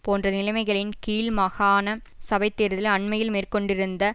போன்ற நிலைமைகளின் கீழ் மாகாண சபை தேர்தலில் அண்மையில் மேற்கொண்டிருந்த